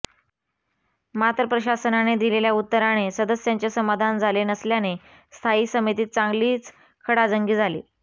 मात्र प्रशासनाने दिलेल्या उत्तराने सदस्यांचे समाधान झाले नसल्याने स्थायी समितीत चांगलीच खडाजंगी झाली